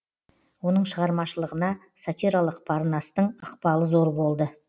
оның шығармашылығына сатиралық парнастың ықпалы зор болды